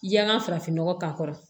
I yanga farafinnɔgɔ k'a kɔrɔ